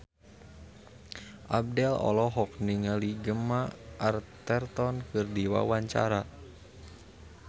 Abdel olohok ningali Gemma Arterton keur diwawancara